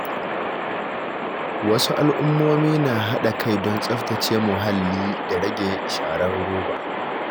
Wasu al’ummomi na haɗa kai don tsaftace muhalli da rage sharar roba.